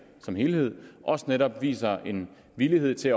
som helhed også netop viser en villighed til